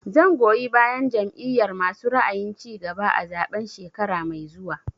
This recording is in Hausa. Zan goyi bayan Jam'iyar masu ra'ayin cigaba a zaɓen shekara mai zuwa